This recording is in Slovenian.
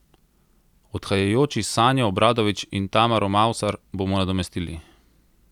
Odhajajoči Sanjo Obradović in Tamaro Mavsar bomo nadomestili.